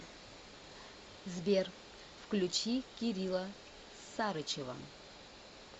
сбер включи кирилла сарычева